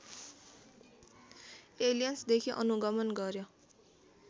एलियन्सदेखि अनुगमन गर्‍यो